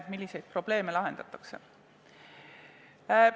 Milliseid probleeme sellega lahendatakse?